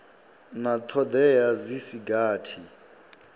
na thodea dzi si gathi